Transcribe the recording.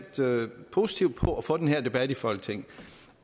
positivt på at få den her debat i folketinget